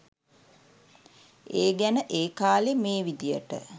ඒ ගැන ඒ කාලෙ මේ විදියට